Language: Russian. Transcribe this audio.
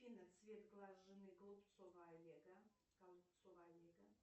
афина цвет глаз жены голубцова олега